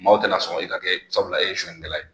Maaw tɛ sɔn i ka kɛ sabula e ye suɲɛnikɛla ye.